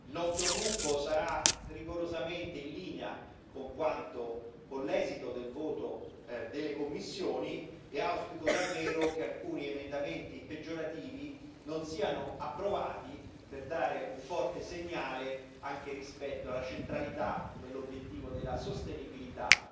Il nostro gruppo sarà rigorosamente in linea con l'esito del voto delle commissioni e auspico davvero che alcuni emendamenti peggiorativi non siano approvati, per dare un forte segnale anche rispetto alla centralità dell'obiettivo della sostenibilità.